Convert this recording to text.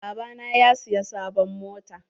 Baba na ya siya sabon mota.